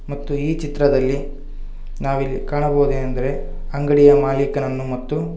ಮತ್ತು ಈ ಚಿತ್ರದಲ್ಲಿ ನಾವಿಲ್ಲಿ ಕಾಣಬಹುದೇನೆಂದರೆ ಅಂಗಡಿಯ ಮಾಲೀಕನನ್ನು ಮತ್ತು--